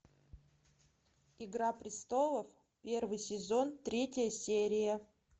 игра престолов первый сезон третья серия